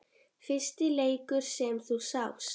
Fyrsti leikur sem þú sást?